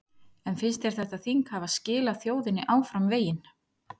En finnst þér þetta þing hafa skilað þjóðinni áfram veginn?